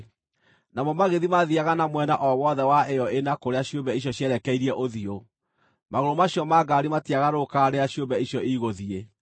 Namo magĩthiĩ maathiiaga na mwena o wothe wa ĩyo ĩna kũrĩa ciũmbe icio cierekeirie ũthiũ; magũrũ macio ma ngaari matiagarũrũkaga rĩrĩa ciũmbe icio igũthiĩ.